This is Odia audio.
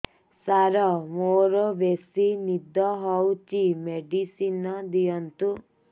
ସାର ମୋରୋ ବେସି ନିଦ ହଉଚି ମେଡିସିନ ଦିଅନ୍ତୁ